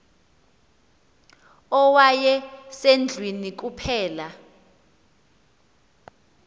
owaye sendlwini kuphela